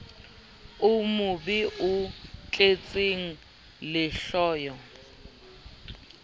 o mobe o tletseng lehloyo